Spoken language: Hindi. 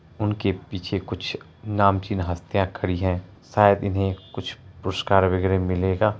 उनके पीछे कुछ नामचीन हस्तिया खड़ी है शायद इन्हें कुछ पुरस्कार वगेरा मिलेगा|